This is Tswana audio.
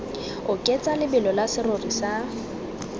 oketsa lebelo la serori sa